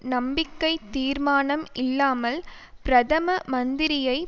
நம்பிக்கை தீர்மானம் இல்லாமல் பிரதம மந்திரியை